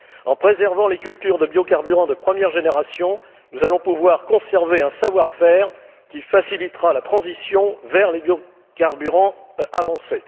En préservant les cultures de biocarburants de première génération, nous allons pouvoir conserver un savoir faire qui facilitera la transition vers les biocarburants avancés.